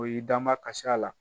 O y'i damakasi a la